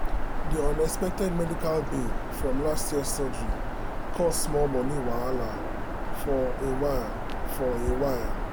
the unexpected medical bill from last year surgery cause small money wahala for a while. for a while.